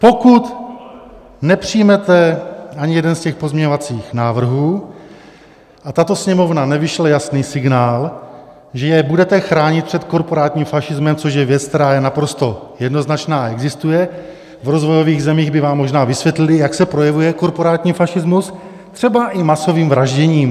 Pokud nepřijmete ani jeden z těch pozměňovacích návrhů a tato Sněmovna nevyšle jasný signál, že je budete chránit před korporátním fašismem, což je věc, která je naprosto jednoznačná a existuje, v rozvojových zemích by vám možná vysvětlili, jak se projevuje korporátní fašismus, třeba i masovým vražděním.